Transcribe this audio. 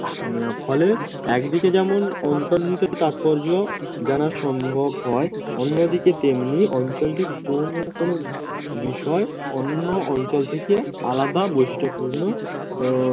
ফলে একদিকে যেমন অন্তর লীগের তাৎপর্য জানার সম্ভব হয় অন্যদিকে তেমনি অঞ্চলটি কোন না কোন বিষয় অন্য অঞ্চল থেকে আলাদা বৈশিষ্ট্যপূর্ণ আহ